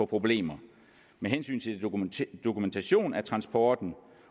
problemer med hensyn til dokumentation af transporten